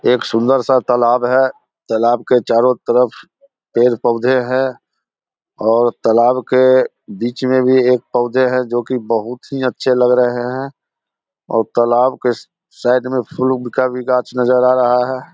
एक सुंदर सा तालाब है जो तालाब के चारो तरफ पेड़-पौधे है और तालाब के बीच में भी एक पौधे है जो की बहुत ही अच्छे लग रहे है और तालाब के साइड में फूल का भी गाछ नजर आ रहा है।